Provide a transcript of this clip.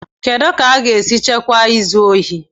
Kedu ka a ga-esi chịkwaa izu ohi?